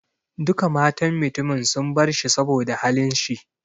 Duka matan mutumin sun bar shi saboda halin shi.